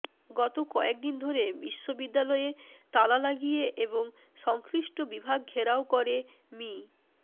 গত কয়েকদিন ধরে বিশ্ববিদ্যালয়ে তালা লাগিয়ে এবং সংশ্লিষ্ট বিভাগ ঘেরাও করে মি